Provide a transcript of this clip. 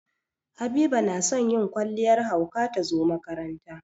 Habiba na son yin kwalliyar hauka ta zo makaranta.